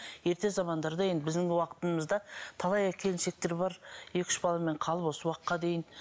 ерте замандарда енді біздің уақытымызда талай келіншектер бар екі үш баламен қалып осы уақытқа дейін